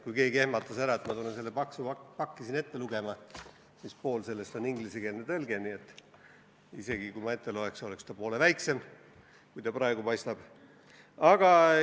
Kui keegi ehmatas ära, et ma hakkan seda paksu pakki siin ette lugema, siis ütlen, et pool sellest on ingliskeelne tõlge, nii et isegi kui ma selle ette loeks, oleks see poole lühem, kui ta praegu paistab.